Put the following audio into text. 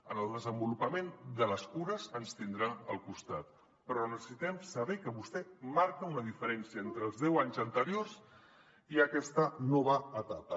en el desenvolupament de les cures ens tindrà al costat però necessitem saber que vostè marca una diferència entre els deu anys an·teriors i aquesta nova etapa